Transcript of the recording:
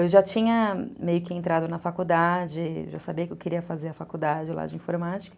Eu já tinha meio que entrado na faculdade, já sabia que eu queria fazer a faculdade lá de informática.